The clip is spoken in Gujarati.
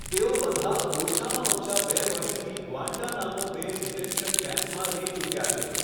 તેઓ બધા ઓછામાં ઓછા બે વર્ષથી ગ્વાન્ટાનામો બે ડિટેન્શન કેમ્પમાં રહી ચૂક્યા છે.